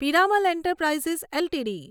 Piramal enterprises LTD